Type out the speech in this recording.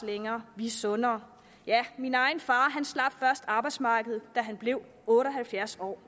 længere vi er sundere og ja min egen far slap først arbejdsmarkedet da han blev otte og halvfjerds år